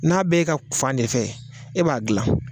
N'a b' e ga fan ne fɛ e b'a gilan